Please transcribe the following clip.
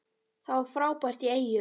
Það var frábært í Eyjum.